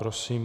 Prosím.